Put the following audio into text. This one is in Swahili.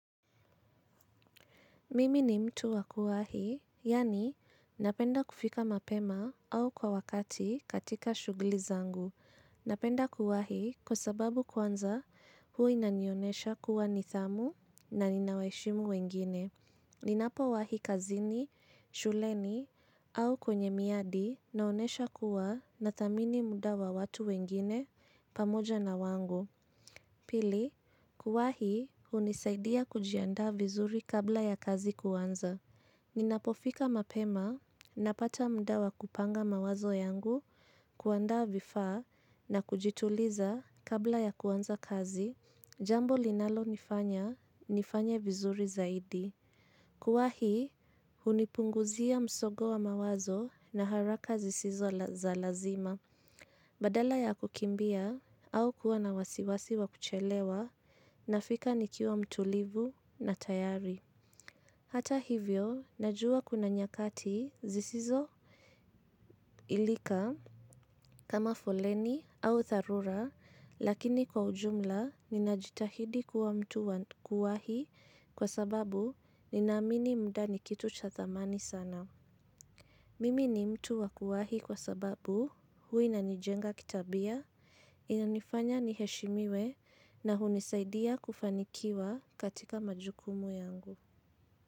Mimi ni mtu wakuwa hii, yani napenda kufika mapema au kwa wakati katika shughuli zangu. Napenda kuwa hii kwa sababu kwanza huwa inanionyesha kuwa nidhamu na nina waheshimu wengine. Ninapo wahi kazini, shuleni au kwenye miadi naonyesha kuwa na thamini muda wa watu wengine pamoja na wangu. Pili, kuwahi hunisaidia kujiandaa vizuri kabla ya kazi kuanza ninapofika mapema, napata muda wa kupanga mawazo yangu, kuandaa vifaa, na kujituliza kabla ya kuanza kazi. Jambo linalo nifanya, nifanye vizuri zaidi. Kuwahi, hunipunguzia msongo wa mawazo na haraka zisizo za lazima. Badala ya kukimbia au kuwa na wasiwasi wa kuchelewa na fika nikiwa mtulivu na tayari. Hata hivyo, najua kuna nyakati zisizo ilika kama foleni ama dharura, lakini kwa ujumla, ninajitahidi kuwa mtu wa kuwahi kwa sababu, nina amini muda ni kitu cha thamani sana. Mimi ni mtu wakuwahi kwa sababu huwa inanijenga kitabia, inanifanya niheshimiwe na hunisaidia kufanikiwa katika majukumu yangu.